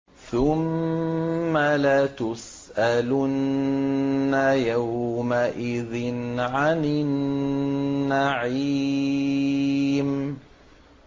ثُمَّ لَتُسْأَلُنَّ يَوْمَئِذٍ عَنِ النَّعِيمِ